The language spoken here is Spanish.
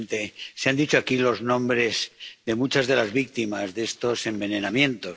Señor presidente, se han dicho aquí los nombres de muchas de las víctimas de estos envenenamientos